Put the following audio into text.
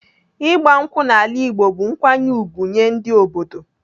Ịgba nkwụ n'ala Igbo bụ nkwanye ùgwù nyee ndị obodo.